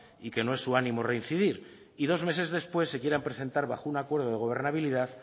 y que no es su ánimo reincidir y dos meses después se quieran presentar bajo un acuerdo de gobernabilidad